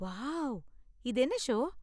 Wow! இது என்ன show?